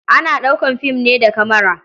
Ana ɗaukar fim ne da kamara.